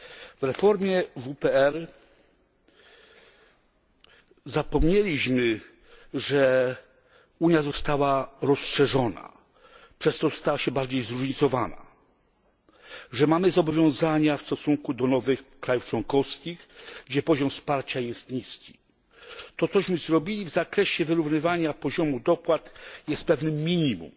W reformie WPR zapomnieliśmy, że Unia została rozszerzona, przez co stała się bardziej zróżnicowana, że mamy zobowiązania w stosunku do nowych państw członkowskich, gdzie poziom wsparcia jest niski. To, co zrobiliśmy w zakresie wyrównywania poziomu dopłat, jest pewnym minimum,